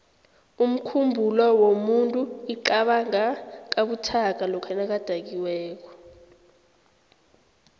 umkhumbulo womuntu iqabanga kabuthaka lokha nakadakiweko